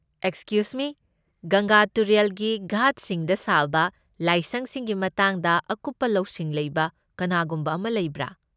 Excuse me, ꯒꯪꯒꯥ ꯇꯨꯔꯦꯜꯒꯤ ꯘꯥꯠꯁꯤꯡꯗ ꯁꯥꯕ ꯂꯥꯏꯁꯪꯁꯤꯡꯒꯤ ꯃꯇꯥꯡꯗ ꯑꯀꯨꯞꯄ ꯂꯧꯁꯤꯡ ꯂꯩꯕ ꯀꯅꯥꯒꯨꯝꯕ ꯑꯃ ꯂꯩꯕ꯭ꯔꯥ?